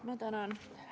Ma tänan!